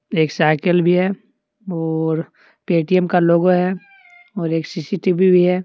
एक साईकिल भी है और पेटीएम का लोगो हैं और एक सीसीटीवी भी है।